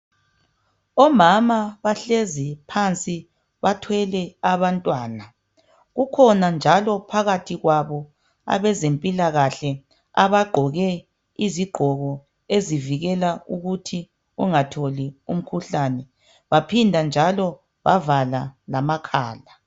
Omama bahlezi phansi bathwele abantwana. Kukhona njalo phakathi kwabo abezempilakahle abagqoke izigqoko ezivikela ukuthi ungatholi umkhuhlane. Baphinda njalo bavala lamakhala.